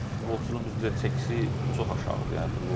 futbolçuların bizdə çəkisi çox aşağıdır.